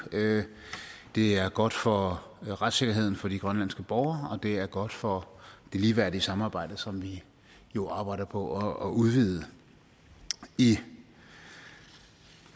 det er godt for retssikkerheden for de grønlandske borgere og det er godt for det ligeværdige samarbejde som vi jo arbejder på at udvide i